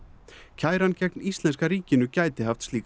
kæran gegn íslenska ríkinu gæti haft slíkar